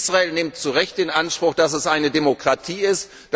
Israel nimmt zu Recht in Anspruch, dass es eine Demokratie ist.